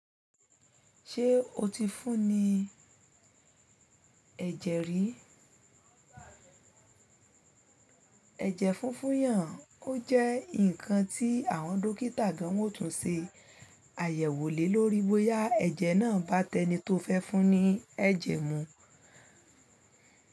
Ṣé o ti fún ní ẹ̀jẹ̀ rí? Ẹ̀jẹ̀ funfun yàn, ó jẹ́ ǹkan tí àwọn dókítà gan wótún ṣe àyẹ̀wò lé lórí bóyá ẹ̀jẹ̀ náà bá tẹni tó fẹ́ fún ní ẹ̀jẹ̀ mu.